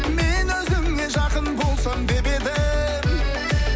мен өзіңе жақын болсам деп едім